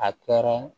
A tɔɔrɔ